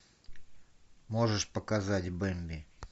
можешь показать бэмби